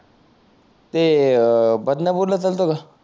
ते अं बदणापुर ला चालतो का